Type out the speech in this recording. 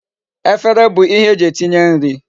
Efere bu ihe eji etinye nri